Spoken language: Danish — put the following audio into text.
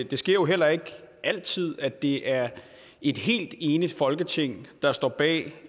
det sker jo heller ikke altid at det er et helt enigt folketing der står bag